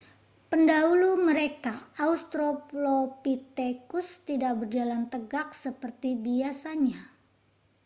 pendahulu mereka australopithecus tidak berjalan tegak seperti biasanya